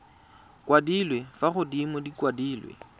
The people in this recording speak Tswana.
kwadilwe fa godimo di kwadilwe